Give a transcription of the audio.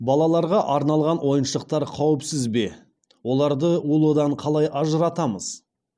балаларға арналған ойыншықтар қауіпсіз бе оларды улыдан қалай ажыратамыз